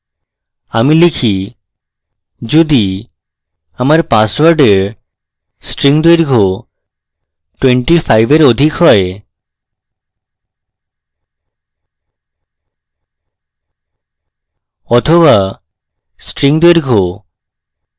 আমি লিখি যদি আমার পাসওওয়ার্ডের string দৈর্ঘ্য 25 এর অধিক হয় বা string দৈর্ঘ্য